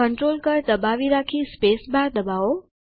control કળ દબાવી રાખી સ્પેસ બાર દબાવો